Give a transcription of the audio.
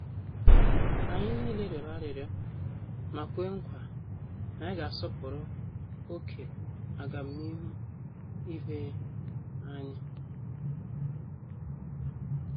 Anyị niile rịọrọ arịrịọ ma kwe nkwa na anyị ga -asọpụrụ oké agamnihu ibé anyị.